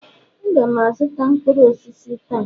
Aga m azụta mkpụrụ osisi taa